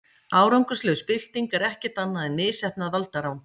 Árangurslaus bylting er ekkert annað en misheppnað valdarán.